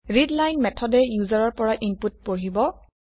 readline মেথডে ইউজাৰৰ পৰা ইনপুট পঢ়িব